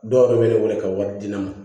Dɔw yɛrɛ bɛ ne wele ka wari di ne ma